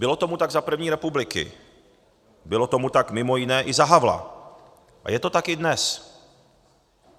Bylo tomu tak za první republiky, bylo tomu tak mimo jiné i za Havla a je to tak i dnes.